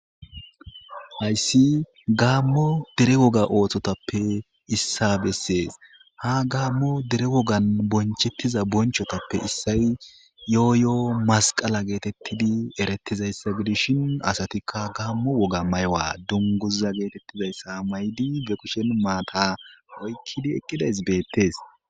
Hayssi gaammo dere woga ooththotappe issa bessees ha gaammo dere wogan bonchettiza bonchotappe issay yooyo'o masqala geetettidi eretizayssa gidishin asatikka gaammo woga maywa dunguza geetettizayssa maydi be kushen maata oykkidi eqqidays beettees.